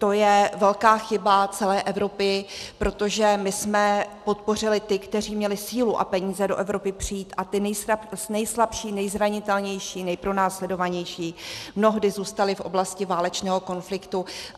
To je velká chyba celé Evropy, protože my jsme podpořili ty, kteří měli sílu a peníze do Evropy přijít, a ti nejslabší, nejzranitelnější, nejpronásledovanější mnohdy zůstali v oblasti válečného konfliktu.